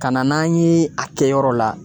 Ka na n'an ye a kɛ yɔrɔ la